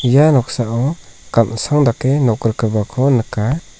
ia noksao gan·sang dake nok rikgipako nika.